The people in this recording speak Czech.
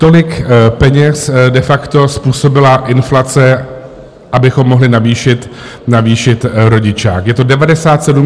Tolik peněz de facto způsobila inflace, abychom mohli navýšit rodičák, je to 97 000 korun.